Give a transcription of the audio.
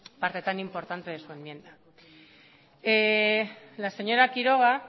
parte tan importante de su enmienda la señora quiroga